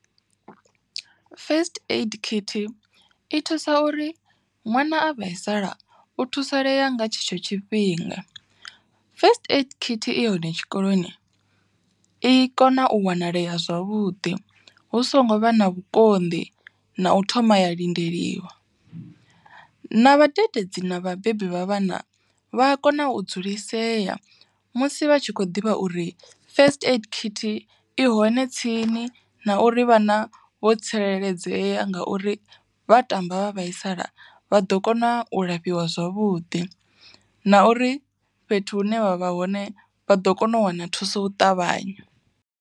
First Aid khithi i thusa uri ṅwana a vhaisala, u thusalea nga tshetsho tshifhinga. First Aid khithi i hone tshikoloni, i kona u wanalea zwavhuḓi hu songo vha na vhukonḓi, na u thoma ya lindeliwa. Na vhadededzi na vhabebi vha vhana vha a kona u dzulisea musi vha tshi kho ḓivha uri First Aid khithi i hone tsini na uri vhana vho tsireledzea ngauri vha tamba vha vhaisala vha ḓo kona u lafhiwa zwavhuḓi. Na uri fhethu hune vha vha hone vha ḓo kona u wana thuso u ṱavhanya.